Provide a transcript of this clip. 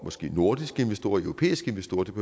måske nordiske investorer og europæiske investorer det